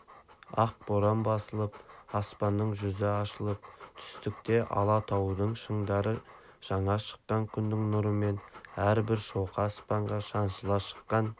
ақ боран басылып аспанның жүзі ашылып түстікте алатаудың шыңдары жаңа шыққан күннің нұрымен әрбір шоқы аспанға шаншыла шыққан